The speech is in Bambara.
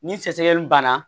Ni sɛgɛsɛgɛliw banna